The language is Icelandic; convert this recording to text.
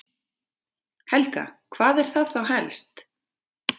Helga: Hvað er það þá helst?